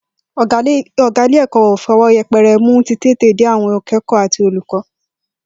Ò̩gá ilé ìwé wa kò fi o̩wó̩ ye̩pe̩re̩ mú títètèdé àwo̩n aké̩kò̩ó̩ àti olùkó̩